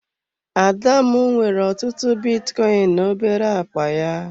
Adamu nwere ọtụtụ bitcoin na obere akpa ya.